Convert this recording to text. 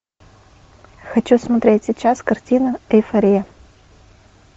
хочу смотреть сейчас картину эйфория